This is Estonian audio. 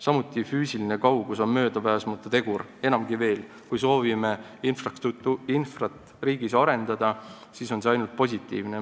Samuti on füüsiline kaugus möödapääsmatu tegur, enamgi veel, kui soovime riigis infrastruktuuri arendada, siis on see ainult positiivne.